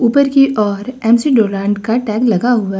ऊपर की ओर एम_सी डोनाल्ड का टैग लगा हुआ--